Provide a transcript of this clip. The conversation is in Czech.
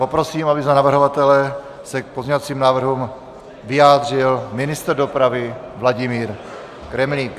Poprosím, aby za navrhovatele se k pozměňovacím návrhům vyjádřil ministr dopravy Vladimír Kremlík.